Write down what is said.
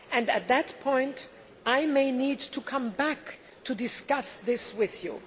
At that point, I may need to come back to discuss this with